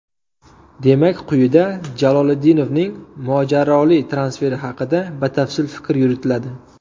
Demak, quyida Jaloliddinovning mojaroli transferi haqida batafsil fikr yuritiladi.